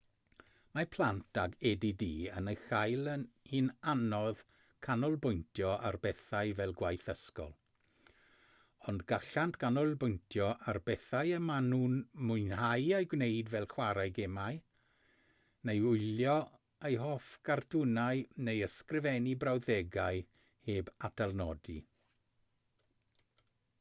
mae plant ag add yn ei chael hi'n anodd canolbwyntio ar bethau fel gwaith ysgol ond gallant ganolbwyntio ar bethau y maen nhw'n mwynhau eu gwneud fel chwarae gemau neu wylio eu hoff gartwnau neu ysgrifennu brawddegau heb atalnodi